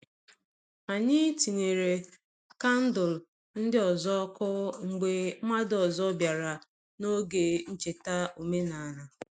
Anyị tinyere kandụl ndị ọzọ ọkụ mgbe mmadụ ọzọ bịara n’oge ncheta omenala.